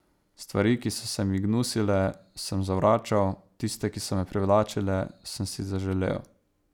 Stvari, ki so se mi gnusile, sem zavračal, tiste, ki so me privlačile, sem si zaželel.